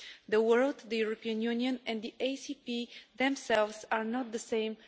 The world, the European Union and the ACP themselves are no longer the same.